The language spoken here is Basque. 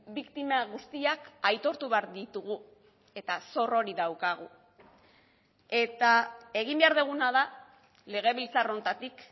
biktima guztiak aitortu behar ditugu eta zor hori daukagu eta egin behar duguna da legebiltzar honetatik